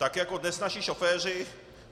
Tak jako dnes naši šoféři...